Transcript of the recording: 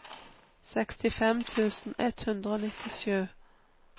sekstifem tusen ett hundre og nittisju